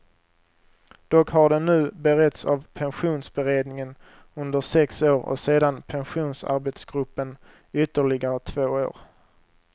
Dock har den nu beretts av pensionsberedningen under sex år och sedan pensionsarbetsgruppen ytterligare två år.